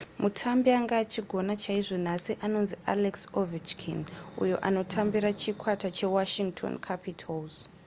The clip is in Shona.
mutambi anga achigona chaizvo nhasi anonzi alex ovechkin uyo anotambira chikwata chewashington capitals